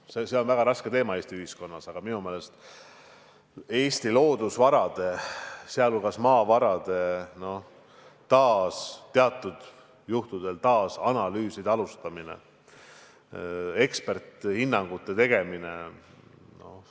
See on väga raske teema Eesti ühiskonnas, aga minu meelest on vajalik Eesti loodusvarade, sh maavarade teatud juhtudel uue analüüsimise alustamine, eksperdihinnangute andmine.